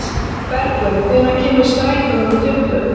Bergur, hvenær kemur strætó númer tuttugu?